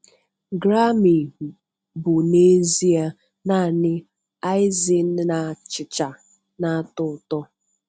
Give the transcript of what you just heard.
Grammy bụ n'ezie naanị icing na achicha na-atọ ụtọ.'